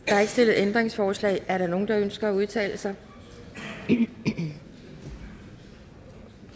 stillet ændringsforslag er der nogen der ønsker at udtale sig da